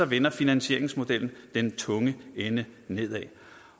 vender finansieringsmodellen den tunge ende nedad